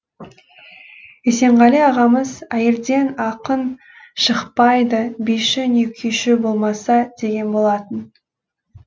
есенғали ағамыз әйелден ақын шықпайды биші не күйші болмаса деген болатын